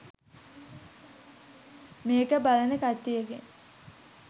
මේක බලන කට්ටියගෙන්